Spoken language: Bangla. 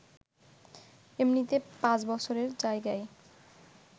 এমনিতে পাঁচ বছরের জায়গায়